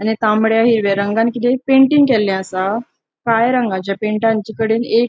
आणि तामड्या हिरव्या रंगान किते पेंटिंग केले असा काळ्या रंगाचा पैंटान एक --